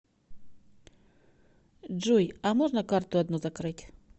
джой а можно карту одну закрыть